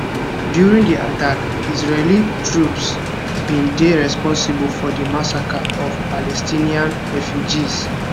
during di attack israeli troops bin dey responsible for di massacre of palestinian refugees